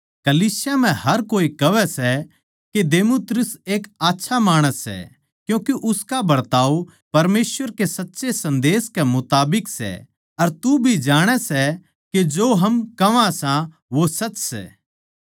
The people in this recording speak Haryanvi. कलीसिया म्ह हर कोए कहवै सै के देमेत्रियुस एक आच्छा माणस सै क्यूँके उसका बरताव परमेसवर के सच्चे सन्देस के मुताबिक सै अर तू भी जाणै सै के जो हम कहवा सां वो सच सै